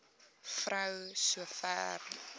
vrou so ver